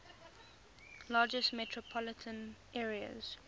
largest metropolitan areas